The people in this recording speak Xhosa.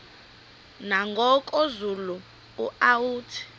nangoku zulu uauthi